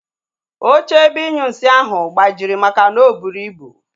Oche ebe inyunsi ahụ gbajiri makana o buru ibu